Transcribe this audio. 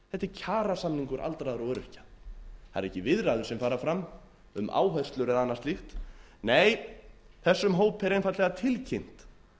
kjarasamningum aldraðra og öryrkja það eru ekki viðræður sem fara fram um áherslur eða annað slíkt nei þessum hópi er einfaldlega tilkynnt